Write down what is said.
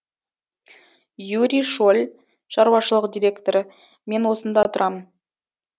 юрий шоль шаруашылық директоры мен осында тұрамын